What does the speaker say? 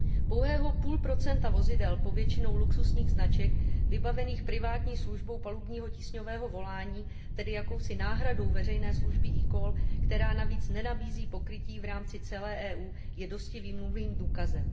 Pouhé půl procento vozidel většinou luxusních značek vybavených privátní službou palubního tísňového volání, tedy jakousi náhradou veřejné služby eCall, která navíc nenabízí pokrytí v rámci celé EU, je dosti výmluvným důkazem.